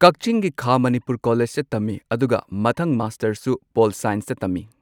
ꯀꯛꯆꯤꯡꯒꯤ ꯈꯥ ꯃꯅꯤꯄꯨꯔ ꯀꯣꯂꯦꯖꯇ ꯇꯝꯃꯤ ꯑꯗꯨꯒ ꯃꯊꯪ ꯃꯥꯁꯇꯔꯁꯨ ꯄꯣꯜ ꯁꯥꯏꯟꯁꯇ ꯇꯝꯃꯤ꯫